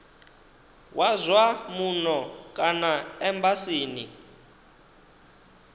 wa zwa muno kana embasini